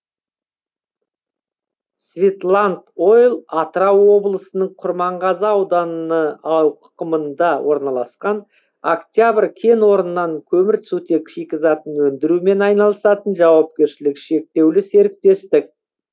светланд ойл атырау облысының құрманғазы ауданы ауқымында орналасқан октябрь кенорнынан көмірсутек шикізатын өндірумен айналысатын жауапкершілігі шектеулі серіктестік